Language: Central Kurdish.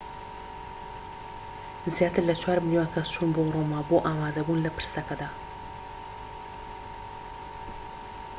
زیاتر لە چوار ملیۆن کەس چوون بۆ ڕۆما بۆ ئامادەبوون لە پرسەکەدا